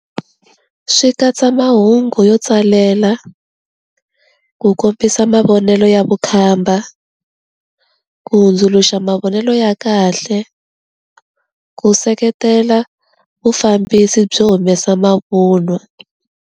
Swi katsa mahungu yo tsalela ku kombisa mavonelo ya vukhamba ku hundzuluxa mavonelo ya kahle ku seketela vufambisi byo humesa mavunwa.